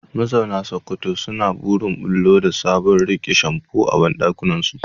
Mazauna Sokoto suna burin bullo da sabon abun rike shamfu a bandakinsu.